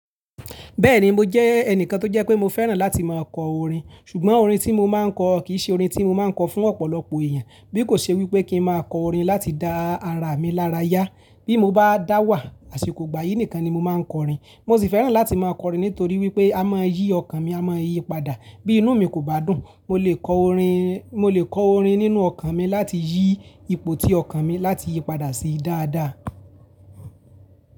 Bẹ́ẹ̀ni mo jẹ́ ẹnìkan tó jẹ́ pé mo fẹ́ràn láti máa kọ orin, ṣùgbọ́n orin tí mo máa ń kọ kì í ṣe orin tí mo máa ń kọ fún ọ̀pọ̀lọpọ̀ èèyàn, bí kò ṣe wípé kí n máa kọ orin láti dá ara mi lára yá. Bí mo bá dáwà àsìkò igbà yìí nìkan ni mo máa ń kọ orin. Mo sì fẹ́ràn láti máa kọ orin nítorí wípé a máa yí ọkàn mi, a máa yí padà. Bí inú mi kò bá dùn, mo lè kọ orin, mo lè kọ orin nínú ọkàn mi láti yí ipò tí ọkàn mi láti yí padà sí dáadáa.